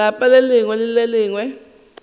lapa le lengwe le le